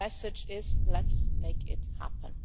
The message is Let's make it happen'.